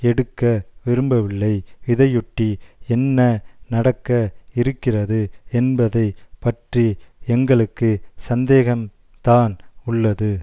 எடுக்க விரும்பவில்லை இதையொட்டி என்ன நடக்க இருக்கிறது என்பதை பற்றி எங்களுக்கு சந்தேகம்தான் உள்ளது